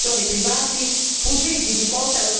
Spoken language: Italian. serve investire in centri di eccellenza